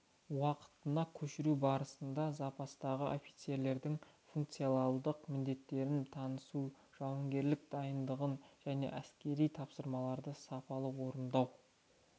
уақытына көшіру барысында запастағы офицерлердің функционалдық міндеттерімен танысу жауынгерлік дайындығын және әскери тапсырмаларды сапалы орындау